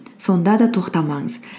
сонда да тоқтамаңыз